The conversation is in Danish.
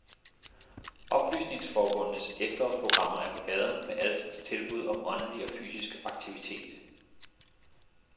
Oplysningsforbundenes efterårsprogrammer er på gaden med alskens tilbud om åndelig og fysisk aktivitet.